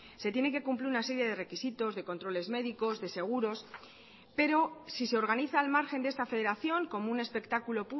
se tiene que cumplir una serie de requisitos de controles médicos de seguros pero si se organiza al margen de esta federación como un espectáculo